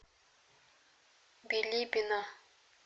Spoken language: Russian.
билибино